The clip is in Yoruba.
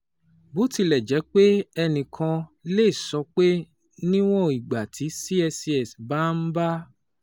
Bó tilẹ̀ jẹ́ pé ẹnì kan lè sọ pé níwọ̀n ìgbà tí CSCS bá ń bá